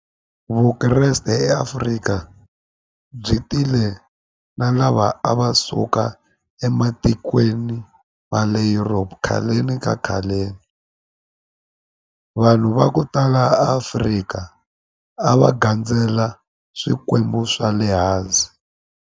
Vukreste eAfrika byi tile na lava a va suka ematikweni ma le europe khaleni ka khaleni vanhu va ku tala Africa a va gandzela swikwembu swa le hansi.